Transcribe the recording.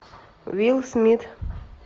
уилл смит